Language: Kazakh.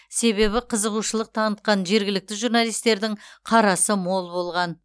себебі қызығушылық танытқан жергілікті журналистердің қарасы мол болған